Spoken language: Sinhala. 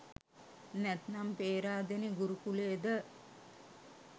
නැත්නම් පේරාදෙනි ගුරු කුලේද?